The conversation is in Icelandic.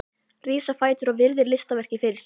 Rís á fætur og virðir listaverkið fyrir sér.